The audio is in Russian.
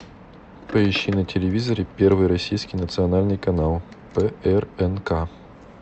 поищи на телевизоре первый российский национальный канал прнк